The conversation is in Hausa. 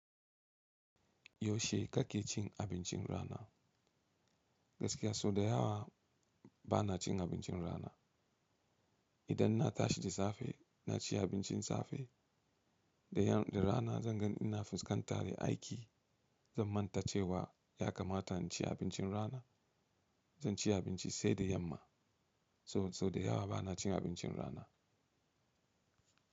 Yaushe kake cin abincin rana? Gaskiya sau da yawa bana cin abincin rana. Idan na tashi da safe na ci abincin safe, da rana zan gan ina fuskantar da aiki, zan manta cewa ya kamata inci abincin rana. Zan ci abinci sai da yamma. So sau da yawa bana cin abincin rana.